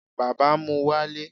bàbá mú walé